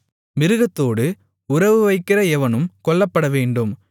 மிருகத்தோடு உறவுவைக்கிற எவனும் கொல்லப்படவேண்டும்